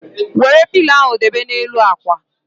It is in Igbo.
Wéré pilo ahụ debe na n'elu ákwà